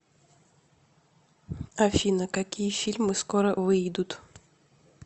афина какие фильмы скоро выидут